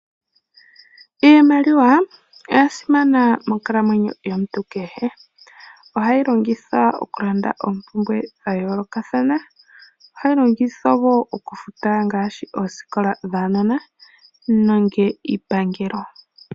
Iimaliwa oyasimana monkalamwenyo yomuntu kehe ohayi longithwa okulanda oopumbwe dhayoolokathana, ohayi longithwa wo okufuta ngaashi oosikola dhaanona nenge iipangelo.